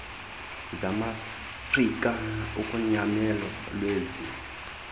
zamaafrika ugonyamelo lwezi